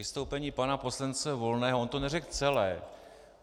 Vystoupení pana poslance Volného - on to neřekl celé.